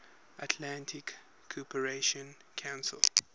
atlantic cooperation council